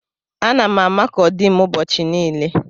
Ana m amakọ dim ụbọchị niile.